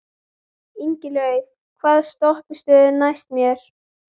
Ingilaug, hvaða stoppistöð er næst mér?